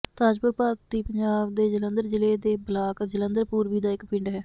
ਤਾਜਪੁਰ ਭਾਰਤੀ ਪੰਜਾਬ ਦੇ ਜਲੰਧਰ ਜ਼ਿਲ੍ਹੇ ਦੇ ਬਲਾਕ ਜਲੰਧਰ ਪੂਰਬੀ ਦਾ ਇੱਕ ਪਿੰਡ ਹੈ